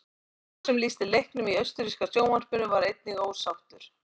Sá sem lýsti leiknum í austurríska sjónvarpinu var einnig ósáttur.